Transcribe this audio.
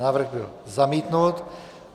Návrh byl zamítnut.